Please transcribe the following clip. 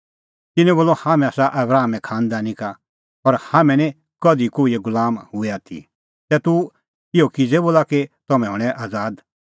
तिन्नैं बोलअ हाम्हैं आसा आबरामे खांनदानी का और हाम्हैं निं कधि कोहिए गुलाम हुऐ आथी तै तूह इहअ किज़ै बोला कि तम्हैं हणैं आज़ाद